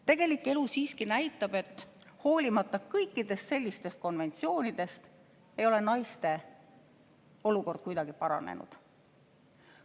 Tegelik elu siiski näitab, et hoolimata kõikidest sellistest konventsioonidest, ei ole naiste olukord kuidagi paranenud.